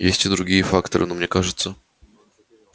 есть и другие факторы но мне кажется